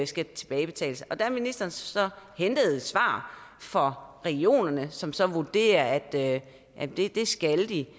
skal tilbagebetales og der har ministeren så hentet et svar fra regionerne som som vurderer at at det skal de